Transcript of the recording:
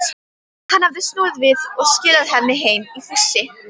Hann hafði snúið við og skilað henni heim í fússi.